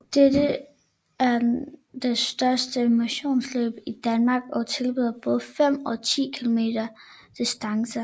Det er det største motionsløb i Danmark og tilbyder både 5 og 10 km distancer